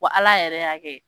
Wa ala yɛrɛ y' kɛ.